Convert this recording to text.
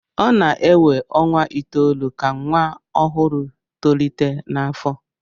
ọ na-ewe ọnwa itoolu ka nwa ọhụrụ tolite n'afọ